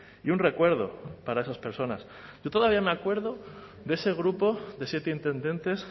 y un recuerdo para esas personas yo todavía me acuerdo de ese grupo de siete intendentes